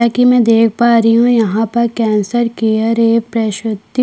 जैसा की मै देख पा रही हूँ यहाँ पर कैंसर केयर ए प्रसूति--